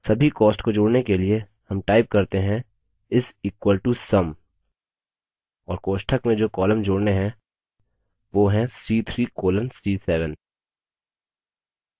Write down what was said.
सभी costs को जोड़ने के लिए sum type करते हैं = sum और कोष्ठक में जो columns जोड़ने हैं वो हैं c3 colon c7